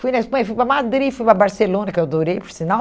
Fui na Espanha, fui para Madrid, fui para Barcelona, que eu adorei, por sinal.